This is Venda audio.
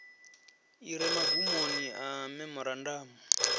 i re magumoni a memorandamu